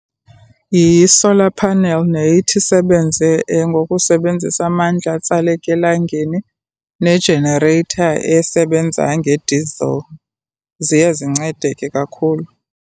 Yi-solar panel neye ithi isebenze ngokusebenzisa amandla atsaleka elangeni ne-generator esebenza nge-diesel. Ziye zincede ke kakhulu.